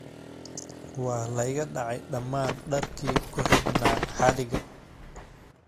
Waa la iga dhacay dhammaan dharkii ku xidhnaa xadhigga